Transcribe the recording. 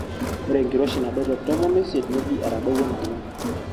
ore enkiroshi nadou te tomon oisiet neji etadowuo naleng